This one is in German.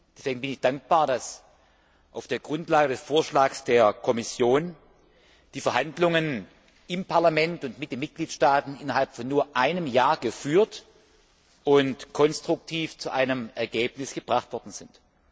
Deswegen bin ich dankbar, dass auf der Grundlage des Vorschlags der Kommission die Verhandlungen im Parlament und mit den Mitgliedstaaten innerhalb von nur einem Jahr geführt und konstruktiv zu einem Ergebnis gebracht worden sind.